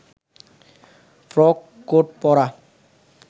frock coat পরা